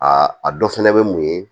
A a dɔ fɛnɛ bɛ mun ye